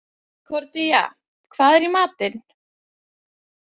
Konkordía, hvað er í matinn?